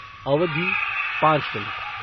अवधि पाँच मिनट